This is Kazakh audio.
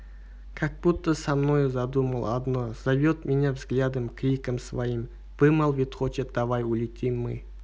как будто со мною задумал одно зовет меня взглядом криком своим вымолвить хочет давай улетим мы